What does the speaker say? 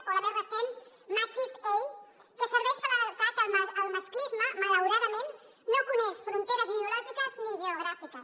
o la més recent matxisei que serveix per alertar que el masclisme malauradament no coneix fronteres ideològiques ni geogràfiques